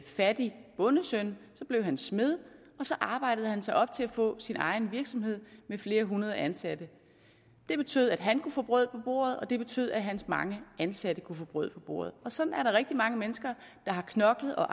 fattig bondesøn så blev han smed og så arbejdede han sig op til at få sin egen virksomhed med flere hundrede ansatte det betød at han kunne få brød på bordet og det betød at hans mange ansatte kunne få brød på bordet sådan er der rigtig mange mennesker der har knoklet og